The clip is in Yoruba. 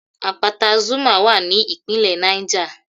Àpáta Zuma wà ní ìpínlẹ̀ Niger